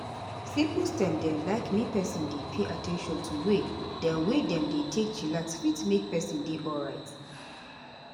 simple step dem like make peson dey pay at ten tion to way dem wey dem take dey chillax fit make peson dey alrite.